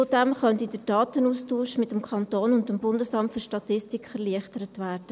Zudem könnte der Datenaustausch mit dem Kanton und dem Bundesamt für Statistik (BFS) erleichtert werden.